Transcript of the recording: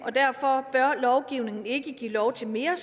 og derfor bør lovgivningen ikke give lov til mere